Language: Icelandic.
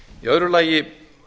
í öðru lagi